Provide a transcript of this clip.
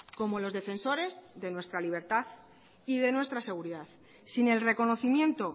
como los defensores de nuestra libertad y de nuestra seguridad sin el reconocimiento